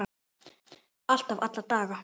Alltaf, alla daga.